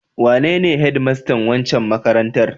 Wanene hedmastan wancan makarantar?